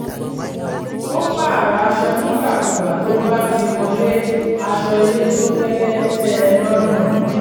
ó pààrọ̀ aṣọ nígbàkúùgbà tó bá ti wọlé aṣọ ilé tó fẹ́lẹ́ tẹ́ ẹ lọ́rùn